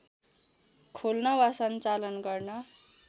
खोल्न वा सञ्चालन गर्न